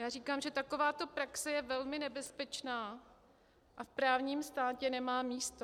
Já říkám, že takováto praxe je velmi nebezpečná a v právním státě nemá místo.